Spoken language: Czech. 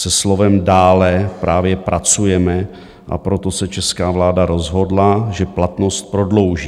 Se slovem "dále" právě pracujeme, a proto se česká vláda rozhodla, že platnost prodlouží.